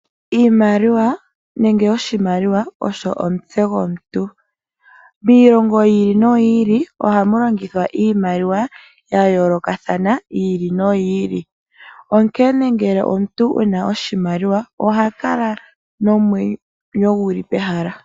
Oshimaliwa osho omutse gomuntu. Miilongo yi ili no yi ili ohamu longithwa iimaliwa ya yoolokathana .Omuntu ngele oku na oshimaliwa oha kala nomwenyo gu li pehala.